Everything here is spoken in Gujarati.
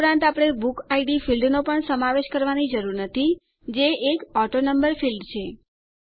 તે ઉપરાંત આપણે બુકિડ ફીલ્ડનો પણ સમાવેશ કરવાની જરૂર નથી જે એક ઓટોનંબર ફીલ્ડ છે